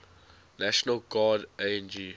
national guard ang